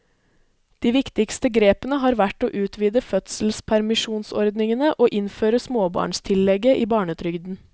De viktigste grepene har vært å utvide fødselspermisjonsordningene og innføre småbarnstillegget i barnetrygden.